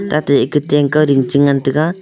ta te eko tang kau ringchi ngan taiga